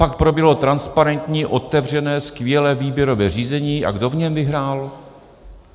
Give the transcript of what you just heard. Pak proběhlo transparentní otevřené skvělé výběrové řízení - a kdo v něm vyhrál?